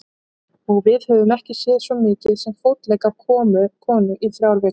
Og við höfum ekki séð svo mikið sem fótlegg af konu í þrjár vikur.